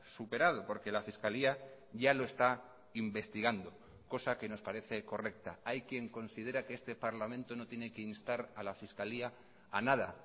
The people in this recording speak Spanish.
superado porque la fiscalía ya lo está investigando cosa que nos parece correcta hay quien considera que este parlamento no tiene que instar a la fiscalía a nada